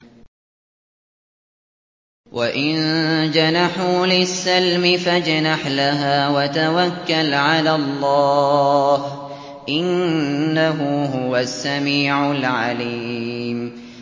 ۞ وَإِن جَنَحُوا لِلسَّلْمِ فَاجْنَحْ لَهَا وَتَوَكَّلْ عَلَى اللَّهِ ۚ إِنَّهُ هُوَ السَّمِيعُ الْعَلِيمُ